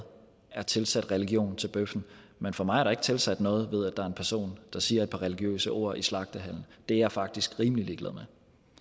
er tilsat religion til bøffen men for mig er der ikke tilsat noget ved at der er en person der siger et par religiøse ord i slagtehallen det er jeg faktisk rimelig ligeglad med